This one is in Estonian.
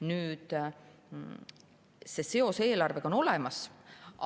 Nii et seos eelarvega on olemas.